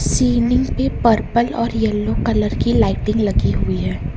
Ceiling पे purple और yellow colour की लाइटिंग लगी हुई है।